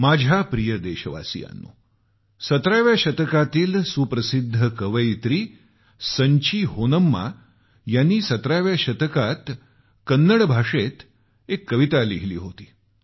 माझ्या प्रिय देशवासियांनो 17 व्या शतकातल्या सुप्रसिद्ध कवयित्री सांची होनम्मा यांनी 17 व्या शतकात कन्नड भाषेत एक कविता लिहिली होती